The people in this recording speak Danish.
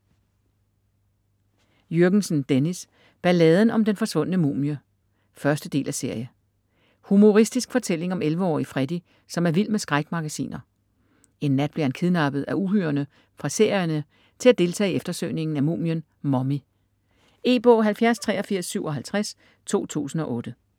Jürgensen, Dennis: Balladen om den forsvundne mumie 1.del af serie. Humoristisk fortælling om 11-årige Freddy, som er vild med skrækmagasiner. En nat bliver han kidnappet af uhyrerne fra serierne til at deltage i eftersøgningen af mumien Mummy. E-bog 708357 2008.